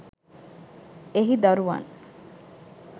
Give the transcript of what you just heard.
එහි දරුවන්